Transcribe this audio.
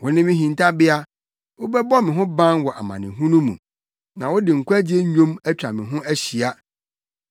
Wone me hintabea; wobɛbɔ me ho ban wɔ amanehunu mu na wode nkwagye nnwom atwa me ho ahyia.